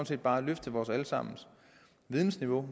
set bare løfte vores alle sammens vidensniveau